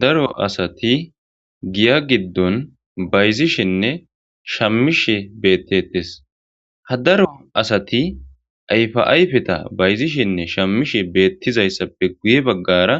daro asati giya giddon bayzishenne shamishe beettetes ha daro asati ayfa ayfeta bayzishenne shammishe beettizayssappe guye baggara